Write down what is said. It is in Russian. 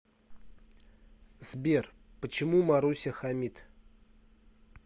сбер почему маруся хамит